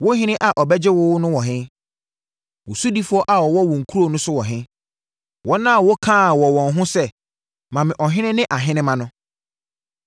Wo ɔhene a ɔbɛgye wo no wɔ he? Wo sodifoɔ a wɔwɔ wo nkuro so wɔ he, wɔn a wokaa wɔ wɔn ho sɛ, ‘Ma me ɔhene ne ahenemma’ no?